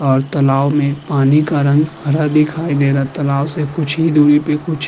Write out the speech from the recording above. और तालाब में पानी का रंग हरा दिखाई दे रहा है। तालाब से कुछ दूरी पे कुछ --